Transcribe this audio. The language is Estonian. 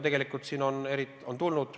Tegelikult neid on ju tulnud.